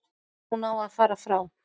Hún á að fara frá.